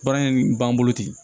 Baara in b'an bolo ten